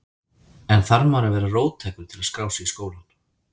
En þarf maður að vera róttækur til að skrá sig í skólann?